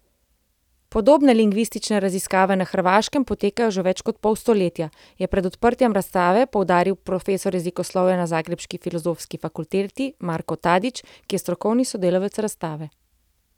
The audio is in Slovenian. Podobne lingvistične raziskave na Hrvaškem potekajo že več kot pol stoletja, je pred odprtjem razstave poudaril profesor jezikoslovja na zagrebški filozofski fakulteti Marko Tadić, ki je strokovni sodelavec razstave.